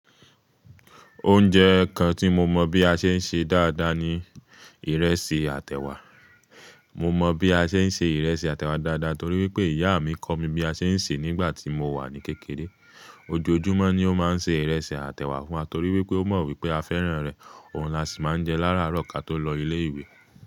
Oúnjẹ kan tí mo mọ̀ bí a ṣe ń ṣe dáadáa ni ìrẹsì àtẹ̀wà. Mo mọ̀ bí a ṣe ń se ìrẹsì àtẹ̀wà dáadáa torí wípé ìyá mi kọ̀ mi bí a ṣe ń ṣe nígbà tí mo wà ní kékeré. Ojoojúmọ́ ní ó máa ń ṣe ìrẹsì àtẹ̀wà fún wa torí wípé ó mọ̀ wípé a fẹ́ràn rẹ̀. Òun la sì máa ń jẹ lára àárọ̀ ká tó lọ ilé ìwé.